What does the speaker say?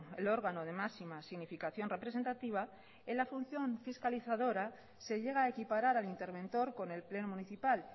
el órgano de máximas significación representativa en la función fiscalizadora se llega a equiparar al interventor con el pleno municipal